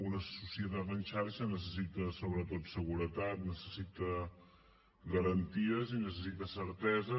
una societat en xarxa necessita sobretot seguretat necessita garanties i necessita certeses